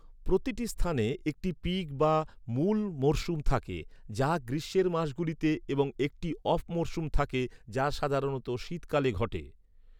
প্রতিটি স্থানে একটি পিক বা মূল মরসুম থাকে, যা গ্রীষ্মের মাসগুলিতে এবং একটি অফ মরসুম থাকে, যা সাধারণত শীতকালে ঘটে।